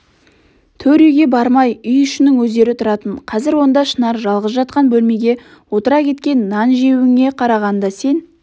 төр үйге бармай үй ішінің өздері тұратын қазір онда шынар жалғыз жатқан бөлмеге отыра кеткен нан жеуіңе қарағанда сен